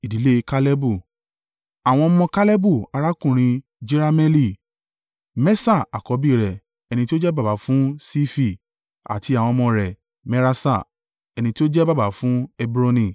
Àwọn ọmọ Kalebu arákùnrin Jerahmeeli: Meṣa àkọ́bí rẹ̀, ẹni tí ó jẹ́ baba fún Sifi, àti àwọn ọmọ rẹ̀ Meraṣa, ẹni tí ó jẹ́ baba fún Hebroni.